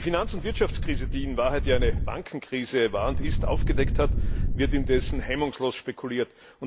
Wie die Finanz und Wirtschaftskrise, die in Wahrheit eine Bankenkrise war und ist, aufgedeckt hat, wird indessen hemmungslos spekuliert.